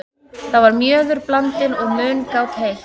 Þar var mjöður blandinn og mungát heitt.